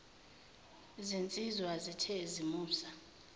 zinsizwa zithe zimusa